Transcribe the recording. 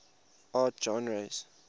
art genres